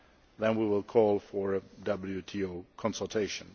then we will call for WTO consultation.